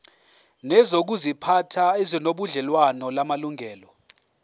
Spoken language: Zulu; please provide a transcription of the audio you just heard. nezokuziphatha ezinobudlelwano namalungelo